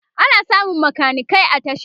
ana samun makanikai a tasha